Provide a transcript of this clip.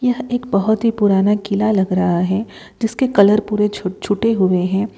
यह एक बहुत ही पुराना किला लग रहा है जिसके कलर पूरे छूट छूटे हुए है।